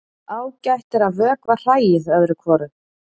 Ágætt er að vökva hræið öðru hvoru.